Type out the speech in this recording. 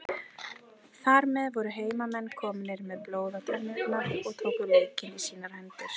Þar með voru heimamenn komnir með blóð á tennurnar og tóku leikinn í sínar hendur.